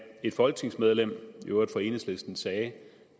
et folketingsmedlem i øvrigt fra enhedslisten sagde